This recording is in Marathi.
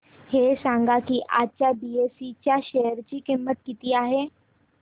हे सांगा की आज बीएसई च्या शेअर ची किंमत किती आहे